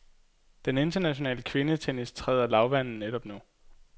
Den internationale kvindetennis træder lavvande netop nu.